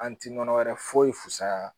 An ti nɔnɔ wɛrɛ foyi fusaya